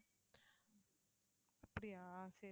அப்படியா சரி